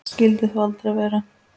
Skyldi þó aldrei vera.